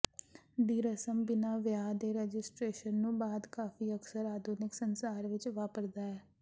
ਦੀ ਰਸਮ ਬਿਨਾ ਵਿਆਹ ਦੇ ਰਜਿਸਟ੍ਰੇਸ਼ਨ ਨੂੰ ਬਾਅਦ ਕਾਫ਼ੀ ਅਕਸਰ ਆਧੁਨਿਕ ਸੰਸਾਰ ਵਿੱਚ ਵਾਪਰਦਾ ਹੈ